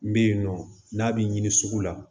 N bɛ yen nɔ n'a bɛ ɲini sugu la